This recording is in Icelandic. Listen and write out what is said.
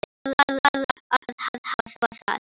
Það varð að hafa það.